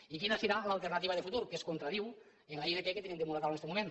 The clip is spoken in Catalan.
i quina serà l’alternativa de futur que es contradiu amb la ilp que tenim damunt la taula en este moment